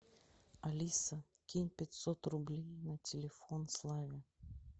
алиса кинь пятьсот рублей на телефон славе